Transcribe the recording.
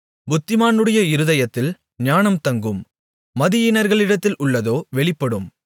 புத்திமானுடைய இருதயத்தில் ஞானம் தங்கும் மதியீனர்களிடத்தில் உள்ளதோ வெளிப்படும்